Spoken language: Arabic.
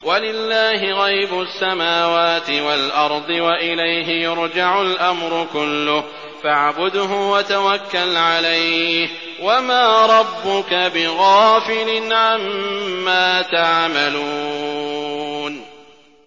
وَلِلَّهِ غَيْبُ السَّمَاوَاتِ وَالْأَرْضِ وَإِلَيْهِ يُرْجَعُ الْأَمْرُ كُلُّهُ فَاعْبُدْهُ وَتَوَكَّلْ عَلَيْهِ ۚ وَمَا رَبُّكَ بِغَافِلٍ عَمَّا تَعْمَلُونَ